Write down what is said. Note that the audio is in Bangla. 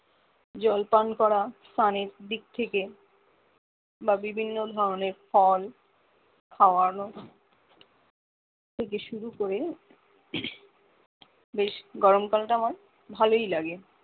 জল পান করা স্নানের দিক থেকে বা বিভিন্ন ধরণের ফল খাওয়ানো থেকে শুরু করে বেশ গরমকাল টা আমার ভালোই লাগে